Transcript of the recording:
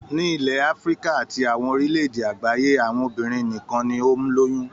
Nílẹ̀ Áfíríkà àti àwọn orílẹ̀-èdè àgbáyé, àwọn obìnrin nìkan ni ó ń lóyún.